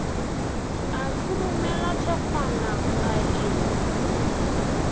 a khurumela thekgwana a e